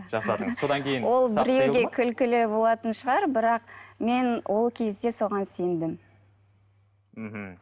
жасадыңыз содан кейін ол біреуге күлкілі болатын шығар бірақ мен ол кезде соған сендім мхм